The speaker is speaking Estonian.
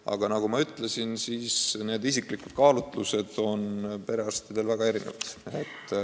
Aga nagu ma ütlesin, isiklikud kaalutlused on perearstidel väga erinevad.